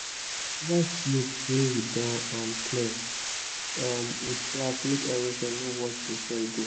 slope wey we don um clear um with grass make erosion no wash the soil go